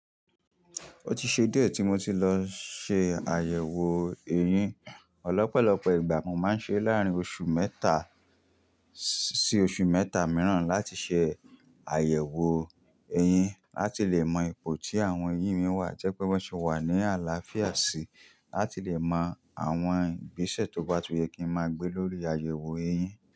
Ó ti ṣe díẹ̀ tí mo ti lọ ṣe àyẹ̀wò eyín. Lopọ̀lọpọ̀ ìgbà mo máa ń ṣe láàrín oṣù mẹ́ta sí oṣù mẹ́ta mìíràn láti ṣe àyẹ̀wò eyín láti lè mọ ipò tí àwọn eyín mi wà jẹ́ pé wọ́n sì wà ní àlàáfíà sí i, láti lè mọ àwọn ìgbésẹ̀ tó bá tún yẹ kí n máa gbé lórí àyẹ̀wò eyín.